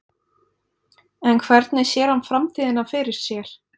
En hvernig sér hann framtíðina fyrir sér?